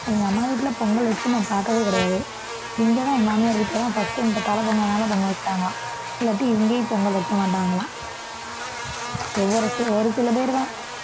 எங்க அம்மா வீட்டில பொங்கல் வச்சு நான் பார்த்ததே கிடையாது. இங்கதான் என் மாமியார் வீட்டில தான் first time இப்ப தலைப்பொங்கல்னால பொங்கல் வச்சாங்களாம் இல்லாட்டி இங்கேயும் பொங்கல் வைக்கமாட்டாங்களாம், ஒவ்வொரு ஒரு சில பேர் தான்